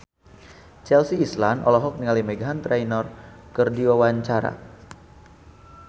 Chelsea Islan olohok ningali Meghan Trainor keur diwawancara